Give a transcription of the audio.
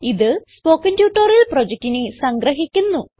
ഇത് spoken tutorial പ്രൊജക്റ്റിനെ സംഗ്രഹിക്കുന്നു